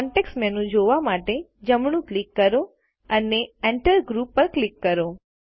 context menu જોવા માટે જમણું ક્લિક કરો અને Enter ગ્રુપ પર ક્લિક કરો